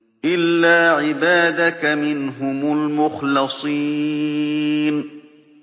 إِلَّا عِبَادَكَ مِنْهُمُ الْمُخْلَصِينَ